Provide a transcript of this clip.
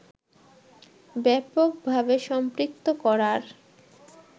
ব্যাপকভাবে সম্পৃক্ত করার